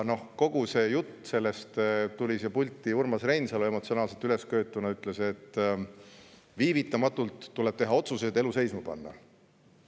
Tuli siia pulti Urmas Reinsalu, emotsionaalselt üles köetud, ütles, et viivitamatult tuleb teha otsuseid elu seisma panna.